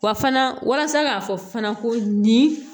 Wa fana walasa k'a fɔ fana ko nin